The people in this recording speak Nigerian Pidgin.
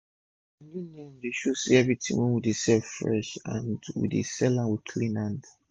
our new name dey show say everi tin wey we dey sell fresh and we dey sell am with clean hand